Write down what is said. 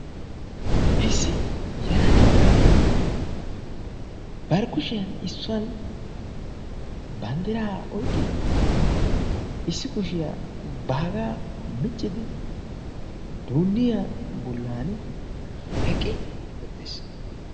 Issi yelaga na'aay issoy bari kushiyan issuwan banddiray oyqqidi issi kushiyaa baaga miccidi duunniyaa bollan eqqiis.